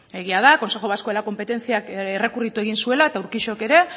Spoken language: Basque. egia da consejo vasco de la competenciak errekurritu egin zuela eta urquijok ere